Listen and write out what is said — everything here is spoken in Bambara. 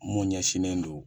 Mun ɲɛsinnen do